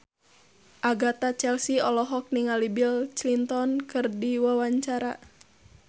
Agatha Chelsea olohok ningali Bill Clinton keur diwawancara